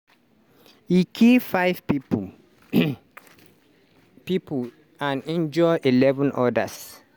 e kill five pipo um pipo and injure eleven odas.